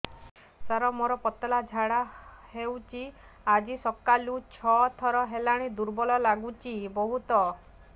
ସାର ମୋର ପତଳା ଝାଡା ହେଉଛି ଆଜି ସକାଳୁ ଛଅ ଥର ହେଲାଣି ଦୁର୍ବଳ ଲାଗୁଚି ବହୁତ